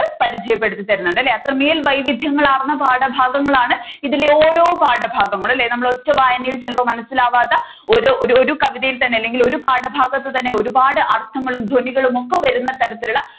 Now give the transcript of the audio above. പരിചയപെടുത്തി തരുന്നുണ്ട് അല്ലെ അത്രമേൽ വൈവിധ്യങ്ങൾ ആർന്ന പാഠഭാഗങ്ങളാണ് ഇതിലെ ഓരോ പാഠഭാങ്ങളൂം അല്ലെ നമ്മുടെ ഒറ്റ വായനയിൽ മനസ്സിലാവാത്ത ഒരു ഒരു കവിതയിൽ തന്നെ അല്ലെങ്കിൽ ഒരു പാഠഭാഗത്തു തന്നെ ഒരുപാട് അർത്ഥങ്ങളും ധ്വനികളും ഒക്കെ വരുന്ന തരത്തിലുള്ള